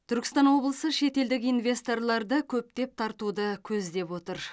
түркістан облысы шетелдік инвесторларды көптеп тартуды көздеп отыр